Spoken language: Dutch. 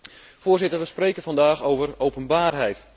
Voorzitter, we spreken vandaag over openbaarheid.